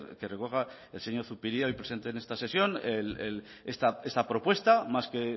que recoja el señor zupiria y presente en esta sesión esta propuesta más que